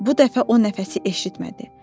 Bu dəfə o nəfəsi eşitmədi.